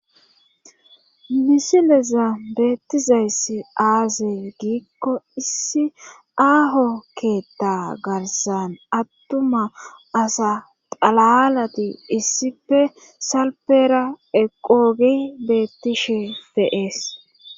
Misileza beettizayssi aazey giikko issi aaho keetta garsan attuma asa xalalati issife salpera eqoogi beettishe feees